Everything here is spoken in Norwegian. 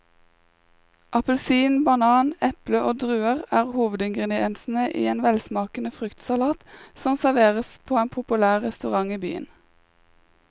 Appelsin, banan, eple og druer er hovedingredienser i en velsmakende fruktsalat som serveres på en populær restaurant i byen.